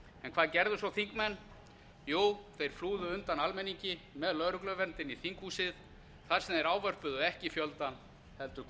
en hvað gerðu svo þingmenn jú þeir flúðu undan almenningi með lögregluvernd inn í þinghúsið þar sem þeir ávörpuðu ekki fjöldann heldur hver